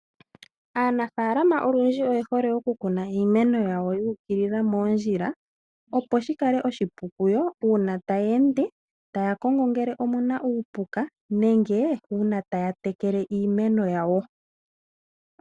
Aanafaalama olundji ohaya hole okukuna iimeno yawo yu ukilila moondjila, opo shi kale oshipu kuyo uuna taya ende taya kongo ngele omu na uupuka nenge uuna taya tekele iimeno yawo.